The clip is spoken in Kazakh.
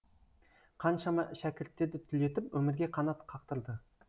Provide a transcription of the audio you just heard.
қаншама шәкірттерді түлетіп өмірге қанат қақтырды